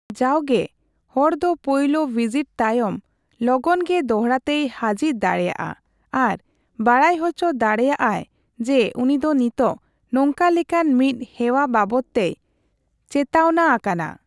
ᱡᱟᱣᱜᱮ, ᱦᱚᱲᱫᱚ ᱯᱳᱭᱞᱳ ᱵᱷᱤᱡᱤᱴ ᱛᱟᱭᱚᱢ ᱞᱚᱜᱚᱱᱜᱮ ᱫᱚᱲᱦᱟᱛᱮᱭ ᱦᱟᱹᱡᱤᱨ ᱫᱟᱲᱮᱹᱭᱟᱜᱼᱟ ᱟᱨ ᱵᱟᱲᱟᱭ ᱦᱚᱪᱚ ᱫᱟᱲᱮᱭᱟᱜᱼᱟᱭ ᱡᱮ ᱩᱱᱤᱫᱚ ᱱᱤᱛᱚᱜ ᱱᱚᱝᱠᱟ ᱞᱮᱠᱟᱱ ᱢᱤᱫ ᱦᱮᱣᱟ ᱵᱟᱵᱚᱫᱽᱛᱮᱭ ᱪᱮᱛᱟᱣᱱᱟ ᱟᱠᱟᱱᱟ ᱾